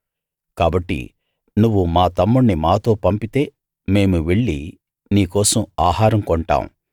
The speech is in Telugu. కాబట్టి నువ్వు మా తమ్ముణ్ణి మాతో పంపితే మేము వెళ్ళి నీ కోసం ఆహారం కొంటాము